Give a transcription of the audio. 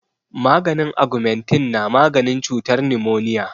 Maganin agamentin na maganin cutar nimoniya